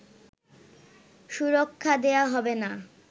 সুরক্ষা দেয়া হবে না